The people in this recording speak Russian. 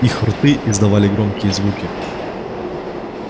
их рты издавали громкие звуки